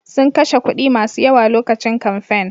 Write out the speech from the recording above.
Sun kashe kuɗi masu yawa lokacin kamfen.